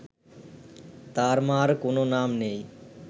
তার মা’র কোনও নাম নেই